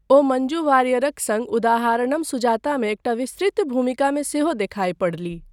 ओ मञ्जु वारियरक सङ्ग उदाहारणम सुजातामे एकटा विस्तृत भूमिकामे सेहो देखाय पड़लीह।